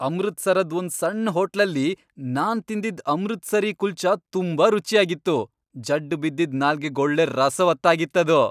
ಅಮೃತ್ಸರದ್ ಒಂದ್ ಸಣ್ಣ್ ಹೋಟ್ಲಲ್ಲಿ ನಾನ್ ತಿಂದಿದ್ ಅಮೃತ್ಸರೀ ಕುಲ್ಚಾ ತುಂಬಾ ರುಚ್ಯಾಗಿತ್ತು. ಜಡ್ಡ್ ಬಿದ್ದಿದ್ ನಾಲ್ಗೆಗೊಳ್ಳೆ ರಸವತ್ತಾಗಿತ್ತದು.